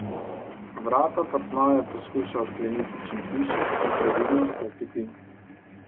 Vrata apartmaja je poskušal odkleniti čim tišje in previdno vstopiti.